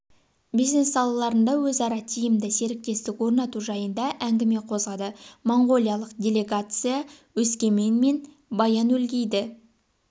бизнес салаларында өзара тиімді серіктестік орнату жайында әңгіме қозғады моңғолиялық деллегация өскемен мен баян-өлгейді